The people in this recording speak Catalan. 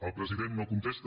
el president no contesta